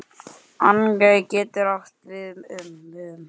Engey getur átt við um